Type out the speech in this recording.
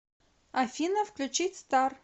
афина включить стар